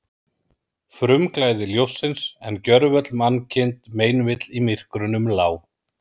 Frumglæði ljóssins, en gjörvöll mannkind meinvill í myrkrunum lá.